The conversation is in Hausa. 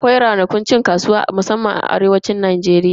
Akwai ranakun cin kasuwa musamman anan arewacin Najeriya.